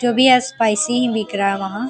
जो भी है स्पाइसी ही बिक रहा वहां।